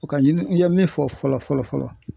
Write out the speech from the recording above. U ka ɲini n ye min fɔ fɔlɔ fɔlɔ fɔlɔ.